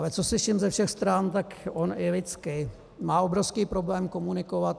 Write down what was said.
Ale co slyším ze všech stran, tak on i lidsky má obrovský problém komunikovat.